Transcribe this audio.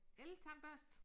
Eltandbørste